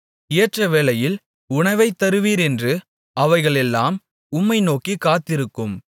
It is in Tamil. ஏற்றவேளையில் உணவைத் தருவீர் என்று அவைகளெல்லாம் உம்மை நோக்கிக் காத்திருக்கும்